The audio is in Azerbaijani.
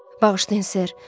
Bağışlayın, ser.